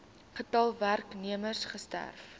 getal werknemers gewerf